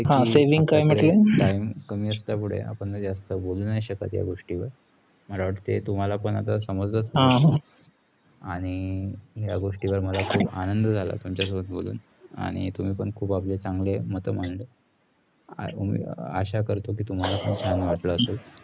आशा करतो की तुम्हाला पण छान वाटले असेल, आणि तुम्ही पण खुप आपले चागले मत मांडले.